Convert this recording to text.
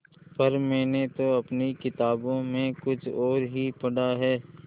पर मैंने तो अपनी किताबों में कुछ और ही पढ़ा है